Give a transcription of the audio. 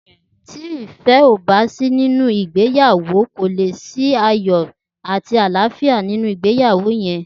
Ti ifẹ o bà si ninú igbéyàwó kó lé si àyọ̀ àtí àláfiá ninú igbéyàwó yèn